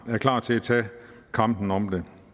er klar til at tage kampen om det